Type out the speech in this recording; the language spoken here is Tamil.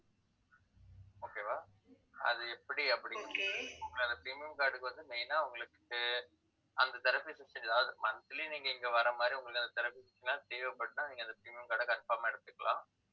okay வா அது எப்படி அப்படின்னுட்டு, premium card க்கு வந்து, main ஆ உங்களுக்கு அந்த therapy system அதாவது monthly நீங்க, இங்க வர்ற மாதிரி, உங்களுக்கு அந்த therapy எல்லாம் தேவைப்பட்டா நீங்க அந்த scheme card அ confirm ஆ எடுத்துக்கலாம்